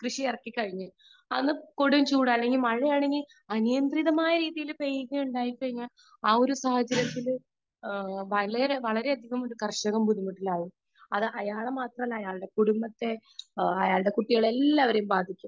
speaker 2 കൃഷിയിറക്കി കഴിഞ്ഞു അന്ന് കൊടും ചൂടാണ് അല്ലെങ്കിൽ മഴ അനിയന്ത്രിതമായ രീതിയിൽ പെയ്തിറങ്ങി കഴിഞ്ഞാൽ ഒരു സാഹചര്യത്തിലും വളരെയധികം കർഷകർ ബുദ്ധിമുട്ടിലാവും അത് അയാളെ മാത്രമല്ല അയാളെ കുടുംബത്തെ അയാളുടെ കുട്ടികളെ എല്ലാവരെയും ബാധിക്കും